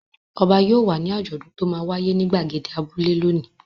Ọba yóò wà ní àjọ̀dún tó máa wáyé ní ìgbàgede abúlé lónìí.